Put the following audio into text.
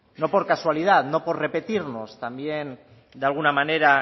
no por casualidad no por repetirnos también de alguna manera